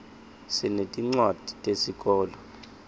sinetincwadzi tesikolo